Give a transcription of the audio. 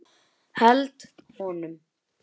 Held honum.